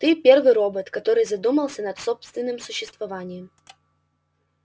ты первый робот который задумался над собственным существованием